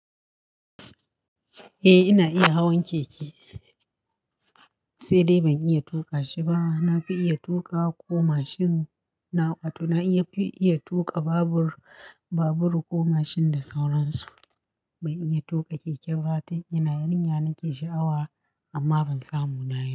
Eh ina iya hawan keke sai dai ban iya tuƙa shi ba. Na fi iya tuƙa ko mashin na aƙwato, na fi iya tuƙa babur, babur ko mashin da sauransu. Ban iya tuƙa keke ba dan ina yarinya nake sha'awa amma ban samu na yi ba.